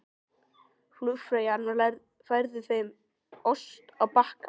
Flugfreyjan færði þeim ost á bakka.